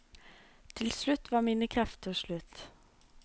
Til slutt var mine krefter slutt.